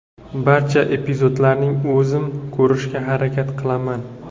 Barcha epizodlarni o‘zim ko‘rishga harakat qilaman.